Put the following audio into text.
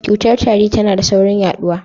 Cutar tari tana da saurin yaɗuwa.